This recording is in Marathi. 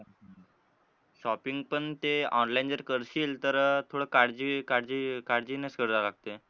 Shopping पण ते online जर करशील तर थोडं काळजी काळजी काळजीनेच करावं लागतंय.